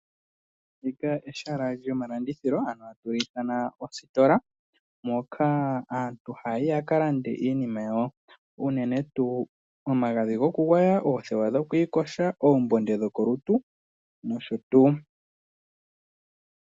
Ehala lyomalandithilo ano atu li ithana ositola moka aantu haya yi ya ka lande iinima yawo uunene tuu omagadhi gokugwaya, oothewa dhokwiiyoga, oombunde dhokolutu nosho tuu.